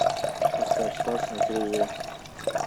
поставь спас на телевизоре